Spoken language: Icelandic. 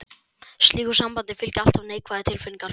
Slíku sambandi fylgja alltaf neikvæðar tilfinningar.